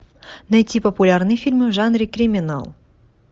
найти популярные фильмы в жанре криминал